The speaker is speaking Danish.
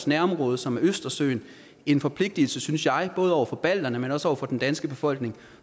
nærområde som østersøen en forpligtelse synes jeg både over for balterne men også over for den danske befolkning